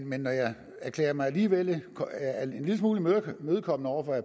men jeg er alligevel en lille smule imødekommende over for